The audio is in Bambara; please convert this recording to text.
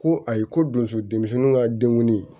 Ko ayi ko donso denmisɛnninw ka denkundi